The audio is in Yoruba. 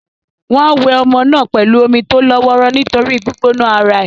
Wọ́n á wẹ ọmọ náà pẹ̀lú omi tó lọ́ wọ́ró nítorí gbígbóná ara è.